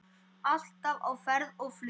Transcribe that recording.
Alltaf á ferð og flugi.